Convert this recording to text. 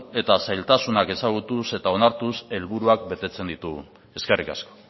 eta zailtasunak ezagutuz eta onartuz helburuak betetzen ditugu eskerrik asko